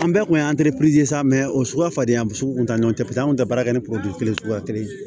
An bɛɛ kun y'an sa o suguya falen sugu kuntan ɲɔgɔn tɛ an kun tɛ baara kɛ ni kelen suguya kelen ye